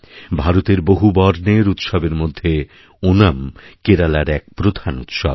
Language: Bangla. ভারতের বহুবর্ণের উৎসবের মধ্যে ওনাম কেরালার এক প্রধানউৎসব